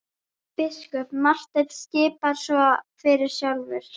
Biskup Marteinn skipar svo fyrir sjálfur!